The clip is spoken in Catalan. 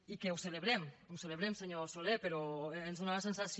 i que ho celebrem ho celebrem senyor soler però ens dóna la sensació